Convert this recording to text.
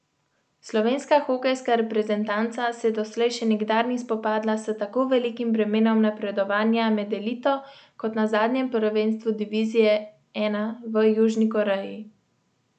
Slovenska hokejska reprezentanca se doslej še nikdar ni spopadla s tako velikim bremenom napredovanja med elito kot na zadnjem prvenstvu divizije I v Južni Koreji.